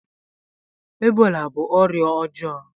Ebola bú ọrịa ọjọọ